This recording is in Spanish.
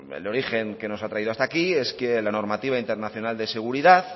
el origen que nos ha traído hasta aquí es que la normativa internacional de seguridad